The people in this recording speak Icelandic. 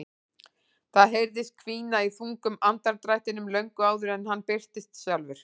Það heyrðist hvína í þungum andardrættinum löngu áður en hann birtist sjálfur.